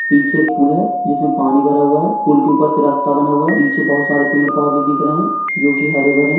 पीछे एक पूल है जिसमे पानी भरा हुआ है पूल के ऊपर से रस्ता बना हुआ है पीछे बहुत सारे पेड़ पौधे दिख रहे है जो की हरे भरे है।